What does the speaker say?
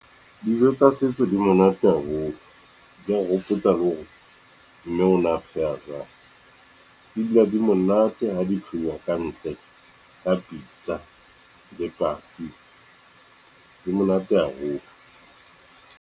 Dijo tsa setso di monate haholo, di re hopotsa le hore, mme ona pheha jwang , di dula di monate ha dipheuwa kantle ka pitsa le patsi di monate haholo.